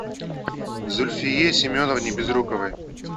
зульфие семеновне безруковой